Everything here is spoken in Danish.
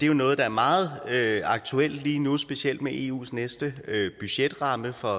jo noget der er meget aktuelt lige nu specielt med eus næste budgetramme for